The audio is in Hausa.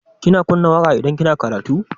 Kina kunna waƙa idan kina karatu?